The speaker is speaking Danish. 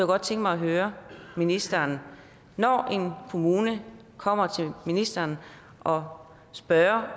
godt tænke mig at høre ministeren når en kommune kommer til ministeren og spørger